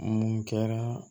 Mun kɛra